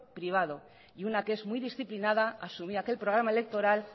privado y una que es muy disciplinada asumía aquel programa electoral